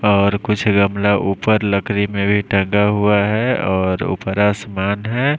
और कुछ गमला ऊपर लकड़ी में भी टंगा हुआ है और ऊपर आसमान है।